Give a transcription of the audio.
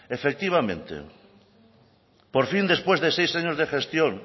efectivamente por fin después de seis años de gestión